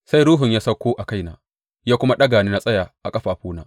Sai Ruhu ya sauko a kaina ya kuma ɗaga ni na tsaya a ƙafafuna.